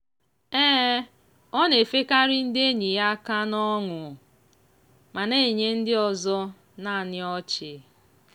ọ na-efekarị ndị enyi ya aka n'ọṅụ ma na-enye ndị ọzọ nannị ọchị.